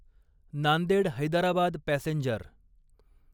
Nanded Hyderabad passenger